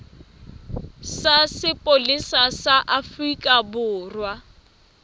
sa sepolesa sa afrika borwa